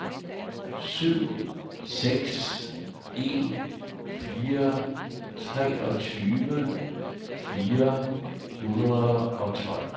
syv seks en fire treogtyve fire hundrede og tolv